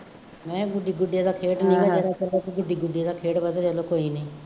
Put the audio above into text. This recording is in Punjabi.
ਮੈਂ ਕਿਹਾ ਗੁੱਡੀ ਗੁੱਡੀਆਂ ਦਾ ਖੇਡ ਨਹੀਂ ਹੈਗਾ ਜਿਹੜਾ ਗੁੱਡੀ ਗੁੱਡੀਆਂ ਦਾ ਖੇਡ ਵੱਧ ਰਿਹਾ ਚੱਲੋ ਕੋਈ ਨਹੀਂ